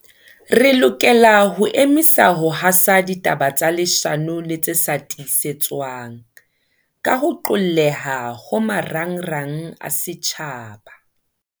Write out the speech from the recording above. Re lokela ho emisa ho hasa ditaba tsa leshano le tse sa tiisetswang, ka ho qolleha ho marangrang a setjhaba.